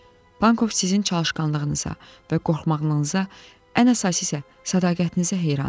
"Pankov sizin çalışqanlığınıza və qorxmağınıza, ən əsası isə sədaqətinizə heyran idi.